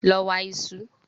Lọ wa iṣu!